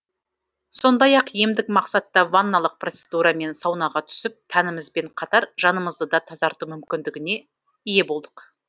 сондай ақ емдік мақсатта ванналық процедура мен саунаға түсіп тәнімізбен қатар жанымызды да тазарту мүмкіндігіне ие болдық